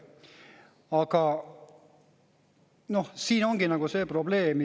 Aga siin ongi see probleem.